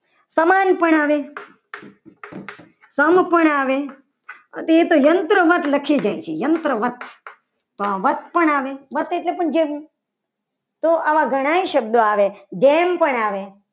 ઉપમાન પણ આવે. સંપૂર્ણ આવે. અને એ તો યંત્રમાં જ લખી દે છે. યંત્રો માં તો આ વધશે પણ આવે વત્સ એટલે જેવું તો આવા ઘણા શબ્દો આવે ધેન પણ આવે.